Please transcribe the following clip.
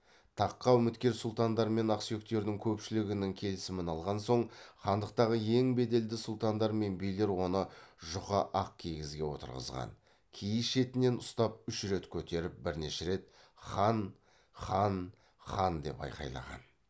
таққа үміткер сұлтандар мен ақсүйектердің көпшілігінің келісімін алған соң хандықтағы ең беделді сұлтандар мен билер оны жұқа ақ киізге отырғызған киіз шетінен ұстап үш рет көтеріп бірнеше рет хан хан хан деп айқайлаған